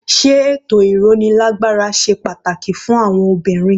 Sé ètò ìrónilágbára ṣe pàtàkì fún àwọn obìnrin?